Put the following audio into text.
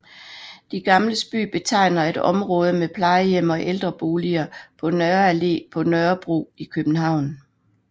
De Gamles By betegner et område med plejehjem og ældreboliger på Nørre Allé på Nørrebro i København